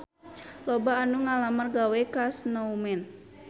Loba anu ngalamar gawe ka Snowman